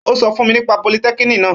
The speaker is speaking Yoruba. Ó sọ fun nípa politẹ́kiniki naa